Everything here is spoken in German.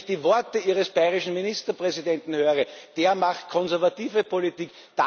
Wenn ich die Worte Ihres bayerischen Ministerpräsidenten höre, der macht konservative Politik.